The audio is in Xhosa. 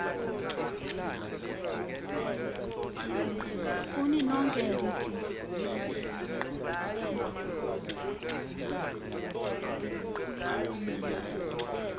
kuni nonke ndithi